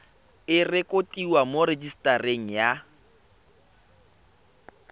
e rekotiwe mo rejisetareng ya